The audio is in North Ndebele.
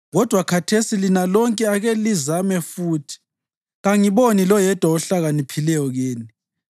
Kodwa khathesi lina lonke ake lizame futhi! Kangiboni loyedwa ohlakaniphileyo kini.